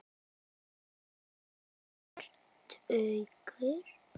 Er hálfur tugur.